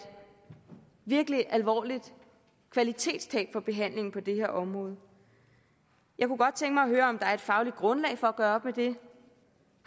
virkelig alvorligt kvalitetstab for behandlingen på det her område jeg kunne godt tænke mig at høre om der er et fagligt grundlag for at gøre op med det